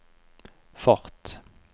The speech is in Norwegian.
fart